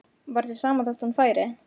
Var þér sama þótt hún færi?